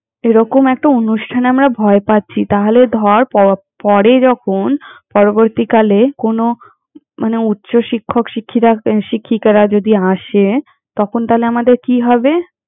এরকম একটা অনুষ্ঠানে আমরা ভয় পাচ্ছি, তাহলে ধর প~ পরে যখন পরবর্তীকালে কোনো মানে উচ্চ শিক্ষক শিক্ষিরা শিক্ষিকরা যদি আসে, তখন তালে আমাদের কি হবে!